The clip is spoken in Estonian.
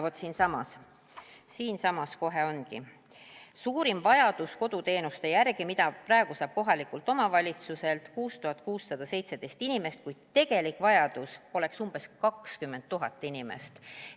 Vaat siinsamas kohe ongi: suurim on vajadus koduteenuste järgi, mida praegu saab kohalikult omavalitsuselt 6617 inimest, kui tegelik vajadus oleks umbes 20 000 inimest.